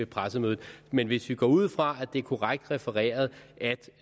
pressemødet men hvis vi går ud fra at det er korrekt refereret